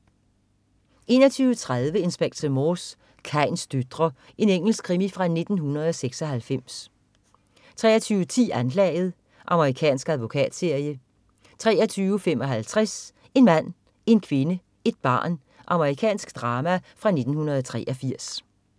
21.30 Inspector Morse: Kains døtre. Engelsk krimi fra 1996 23.10 Anklaget. Amerikansk advokatserie 23.55 En mand, en kvinde, et barn. Amerikansk drama fra 1983